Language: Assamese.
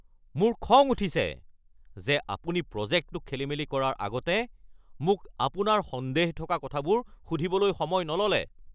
মোৰ খং উঠিছে যে আপুনি প্ৰজেক্টটো খেলিমেলি কৰাৰ আগতে মোক আপোনাৰ সন্দেহ থকা কথাবোৰ সুধিবলৈ সময় নল'লে।